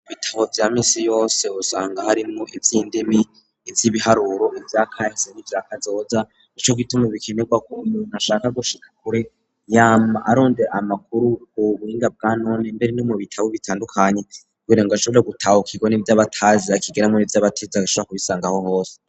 Ibitabo vya misi yose usanga hariwmo ivy'indimi ivy'ibiharuro ivya kahise n'ivyakazoza nico gituma bikenegwa kuruyu muntu ashaka gushika kure yama arondera amakuru ku buhinga bwanone mbere no mu bitabo bitandukanye kubera ngo ashobora gutahukirwa nivyo aba atazi akigiramwo nivyo aba atize agashobora kubisanga aho hose.